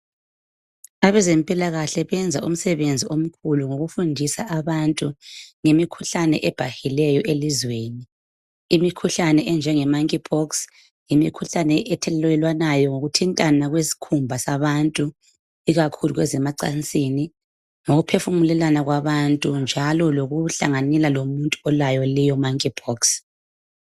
Abezempilakahle benza umsebenzi omkhulu ngokufundisa abantu ngemikhuhlane ebhahileyo elizweni. Imikhuhlane enjengemonkey pox yimikhuhlane ethelelwanayo ngokuthintana kwezikhumba zabantu ikakhulu kwezemacansini, ngokuphefumulelana kwabantu njalo lokuhlanganyela lomuntu olayo leyo monkey pox.